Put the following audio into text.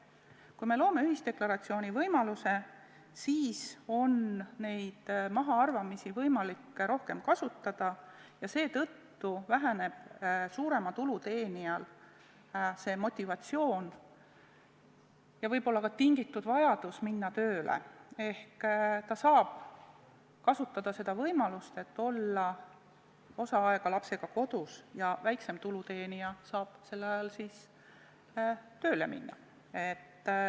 Kui me loome ühisdeklaratsiooni võimaluse, siis on neid mahaarvamisi võimalik rohkem kasutada ja seetõttu väheneb suurema tulu teenijal motivatsioon ja võib-olla ka vajadus minna tööle ehk ta saab kasutada seda võimalust, et olla osa aega lapsega kodus, ja väiksema tulu teenija saab sellel ajal tööle minna.